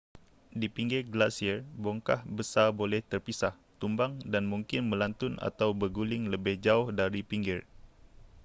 di pinggir glasier bongkah besar boleh terpisah tumbang dan mungkin melantun atau berguling lebih jauh dari pinggir